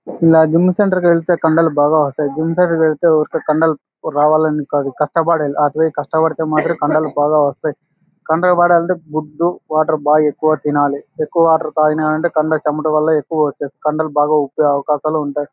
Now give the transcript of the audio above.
ఇలాగా gym centre కి వెళ్తే కండలు బాగా వస్తాయ్. జిమ్ సెంటర్ కి వెళ్తే ఊరికే కండలు రావాలని కాదు కష్టపడాలి పోయి కష్టపడితే కండలు బాగా వస్తాయ్. కండలు పడాలంటే గుడ్డు వాటర్ బాగా ఎక్కువ తినాలి. ఎక్కువ వాటర్ తాగినామంటే కండ చెమట వల్ల ఎక్కువ కండలు బాగా వచ్చే అవకాశాలు ఉంటాయ్.